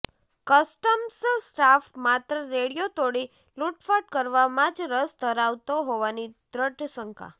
customs staff માત્ર radio તોડી લુંટફાટ કરવામાં જ રસ ધરાવતો હોવાની દ્રઢ શંકા